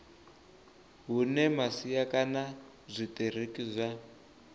hune masia kana zwitiriki zwa